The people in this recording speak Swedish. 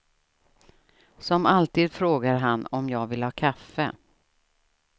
Som alltid frågar han om jag vill ha kaffe.